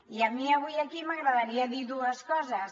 i a mi avui aquí m’agradaria dir dues coses